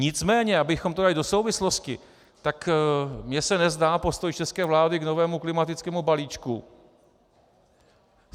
Nicméně abychom to dali do souvislosti, tak mně se nezdá postoj české vlády k novému klimatickému balíčku.